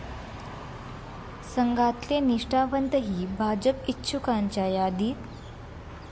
संघातले निष्ठावंतही भाजप इच्छुकांच्या यादीत?